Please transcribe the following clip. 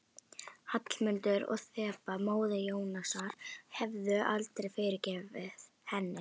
Hallmundur og Þeba, móðir Jónasar, hefðu aldrei fyrirgefið henni.